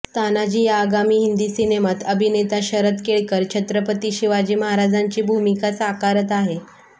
तानाजी या आगामी हिंदी सिनेमात अभिनेता शरद केळकर छत्रपती शिवाजी महाराजांची भूमिका साकारत आहे